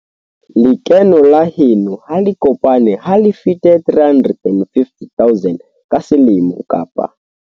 Lekeno la heno ha le kopane ha le fete 350 000 ka selemo kapa.